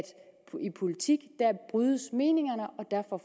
politik brydes meningerne